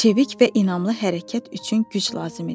Çevik və inamlı hərəkət üçün güc lazım idi.